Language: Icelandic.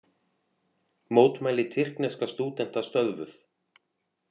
Mótmæli tyrkneska stúdenta stöðvuð